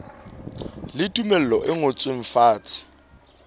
le tumello e ngotsweng fatshe